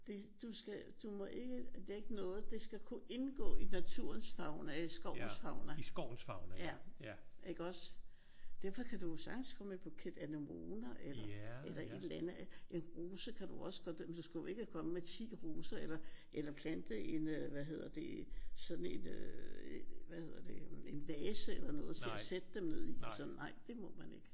Det du skal du må ikke lægge noget. Det skal kunne indgå i naturens fauna. I skovens fauna iggås? Derfor kan du jo sagtens komme med en buket anemoner eller eller et eller andet. En rose kan du også godt. Men du skal jo ikke komme med 10 roser eller plante en øh hvad hedder det sådan en hvad hedder det en vase eller et eller andet til at sætte dem ned i. Nej det må man ikke